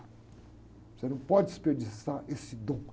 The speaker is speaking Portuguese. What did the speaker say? Você não pode desperdiçar esse dom.